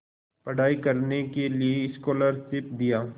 पढ़ाई करने के लिए स्कॉलरशिप दिया